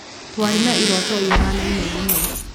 Twarĩ na iroto ihanaine mũno.